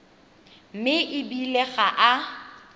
mme e bile ga a